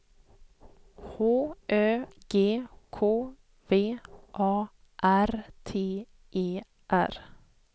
H Ö G K V A R T E R